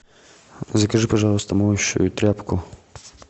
закажи пожалуйста моющую тряпку